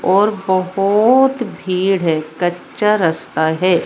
और बहोत भीड़ है कच्चा रस्ता है।